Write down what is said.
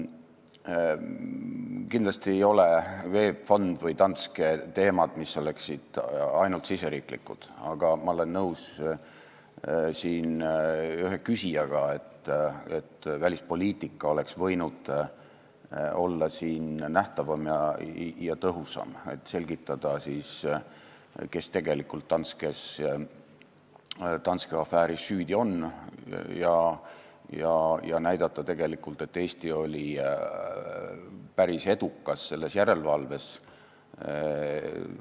Kindlasti ei ole VEB Fond või Danske teemad, mis oleksid ainult riigisisesed, aga ma olen nõus ühe küsijaga, et välispoliitika oleks võinud olla nähtavam ja tõhusam, oleks tulnud selgitada, kes tegelikult Danske afääris süüdi on, ja näidata, et Eesti oli selles järelevalves päris edukas.